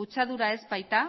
kutsadura ez baita